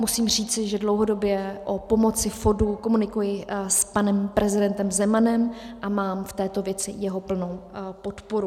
Musím říct, že dlouhodobě o pomoci FODu komunikuji s panem prezidentem Zemanem a mám v této věci jeho plnou podporu.